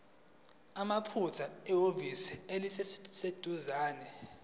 mathupha ehhovisi eliseduzane